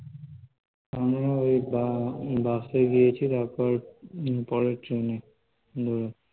আমরা ওই বা ~ বাসে গিয়েছি তারপরে হম পরে ট্রেনে